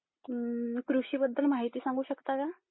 कृषी बद्दल माहिती सांगू शकता का?